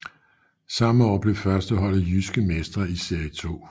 Samme år blev førsteholdet Jyske Mestre i Serie 2